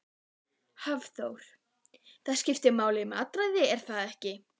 Hafþór: Það skiptir máli matarræðið er það ekki?